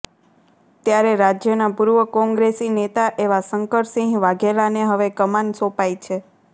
ત્યારે રાજ્યના પુર્વ કોંગ્રેસી નેતા એવા શંકરસિહ વાઘેલાને હવે કમાન સોપાઈ છે